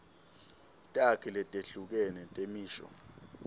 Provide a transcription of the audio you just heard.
takhi letehlukene temisho